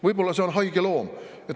Võib-olla see on haige loom.